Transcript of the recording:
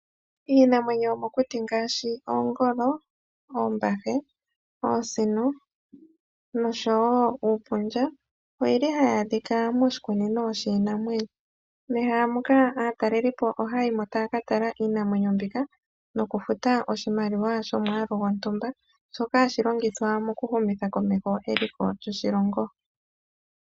Iinamwenyo yomokuti ngaashi oongolo, oosino, oombahe nosho wo uupundja ohayi adhika moshikunino shiinamwenyo. Mehala moka aataleli ohaya yi mo taya ka tala iinamwenyo mbyoka noku futa oshimaliwa shomwaalu gontumba shoka hashi longithwa okuhumitha komeho eliko lyoshilongo.